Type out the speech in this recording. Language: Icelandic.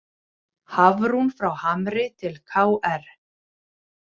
Hafrún frá Hamri til KR